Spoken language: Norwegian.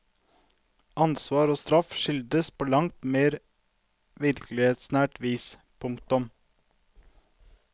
Ansvar og straff skildres på langt mer virkelighetsnært vis. punktum